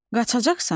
Qaçacaqsan?